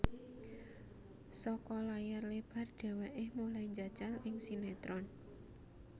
Saka layar lebar dheweke mulai njajal ing sinetron